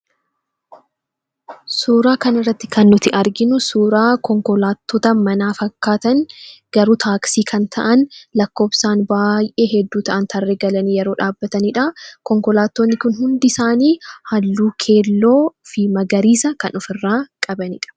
Suuraa kanarratti kan argamu konkolaattota manaa fakkaatan gabaabduu taaksii ta'an lakkoofsaan baay'ee hedduu ta'an tarree galanii dhaabbatanidha. Konkolaattonni kun hundisaanii halluu keelloo fi magariisa kan ofirraa qabanidha.